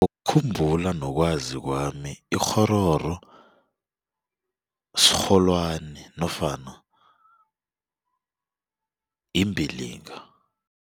Ukukhumbula nokwazi kwami ikghororo sirholwani nofana imbilinga.